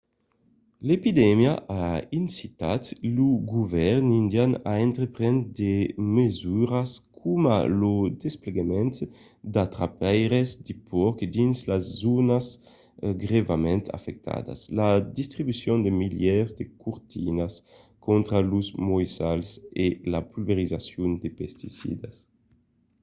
l'epidemia a incitat lo govèrn indian a entreprendre de mesuras coma lo desplegament d'atrapaires de pòrcs dins las zònas grèvament afectadas la distribucion de milièrs de cortinas contra los moissals e la pulverizacion de pesticidas